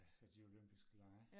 Ja de olympiske lege